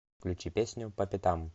включи песню по пятам